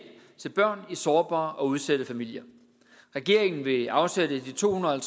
til børn i sårbare og udsatte familier regeringen vil afsætte de to hundrede og